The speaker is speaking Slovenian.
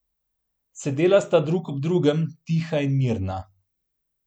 Sedela sta drug ob drugem, tiha in mirna.